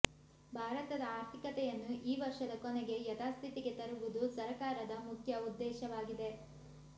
ಭಾರತದ ಆರ್ಥಿಕತೆಯನ್ನು ಈ ವರ್ಷದ ಕೊನೆಗೆ ಯಥಾಸ್ಥಿತಿಗೆ ತರುವುದು ಸರಕಾರದ ಮುಖ್ಯ ಉದ್ದೇಶವಾಗಿದೆ